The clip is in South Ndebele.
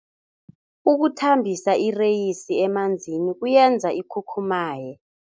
Ukuthambisa ireyisi emanzini kuyenza ikhukhumaye.